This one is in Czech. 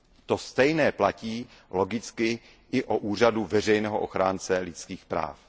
To stejné platí logicky i o úřadu veřejného ochránce lidských práv.